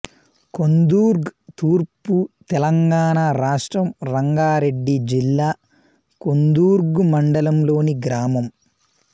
కొందుర్గ్ తూర్పు తెలంగాణ రాష్ట్రం రంగారెడ్డి జిల్లా కొందుర్గు మండలంలోని గ్రామం